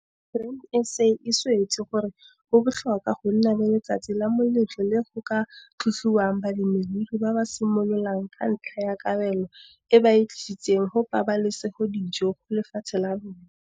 Grain SA e swetse gore go botlhokwa go nna le letsatsi la moletlo le go ka tlotliwang balemirui ba ba simololang ka ntlha ya kabelo e ba e tlisetsang go pabalesegodijo go lefatshe la rona.